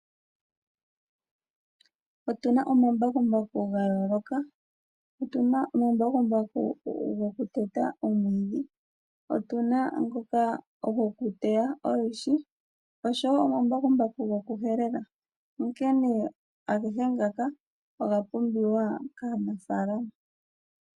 Otuna omambakumbaku gayooloka , otuna omambakumbaku gokuteta omwiidhi , otuna ngoka gokuteya olwiishi oshowoo omambakumbaku gokupulula. Agehe ngaka oga pumbiwa kaanafaalama.